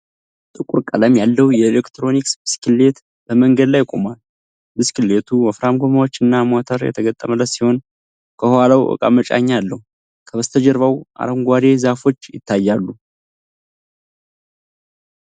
ጥቁር ቀለም ያለው የኤሌክትሪክ ብስክሌት በመንገድ ላይ ቆሟል:: ብስክሌቱ ወፍራም ጎማዎችና ሞተር የተገጠመለት ሲሆን፣ ከኋላው ዕቃ መጫኛ አለው:: ከበስተጀርባው አረንጓዴ ዛፎች ይታያሉ::